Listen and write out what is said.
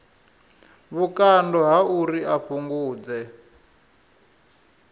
vhukando ha uri a fhungudze